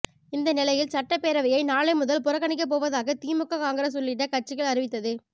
இந்த நிலையில் சட்டப்பேரவையை நாளை முதல் புறக்கணிக்கப் போவதாக திமுக காங்கிரஸ் உள்ளிட்ட கட்சிகள் அறிவித்தது